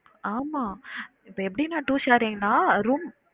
ஆமா இப்ப எப்படினா two sharing னா room